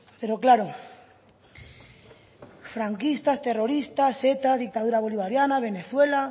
pero claro franquistas terroristas eta dictadura bolivariana venezuela